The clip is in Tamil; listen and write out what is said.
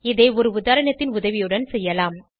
இதை ஒரு உதாரணத்தின் உதவியுடன் செய்யலாம்